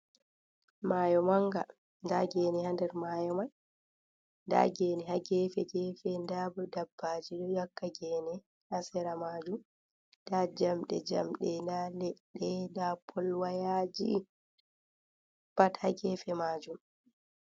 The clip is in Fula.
Mayo manga nda gene ha der mayo man, nda gene ha gefe-gefe, ndabo dabbaji ɗo 'yakka gene ha sera majum, nda jamɗe jamɗe, nda leɗɗe, nda polwayaji pat ha gefe majum.